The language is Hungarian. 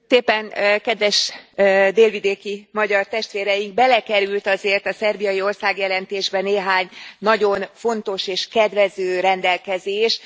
Elnök Úr! Kedves délvidéki magyar testvéreink! Belekerült azért a szerbiai országjelentésbe néhány nagyon fontos és kedvező rendelkezés.